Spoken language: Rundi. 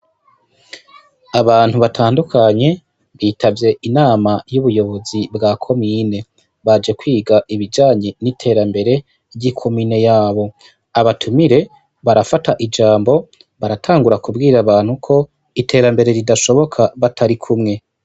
Abantu batandukanye bitavye inama y' ubuyobozi bwa komine, baje kwiga ibijanye n' iterambere ry' ikomine yabo, abatumire barafata ijambo baratangura kubwira abantu ko iterambere ridashoboka batarikumwe.